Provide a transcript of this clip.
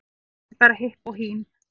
Ekki bara hipp og hím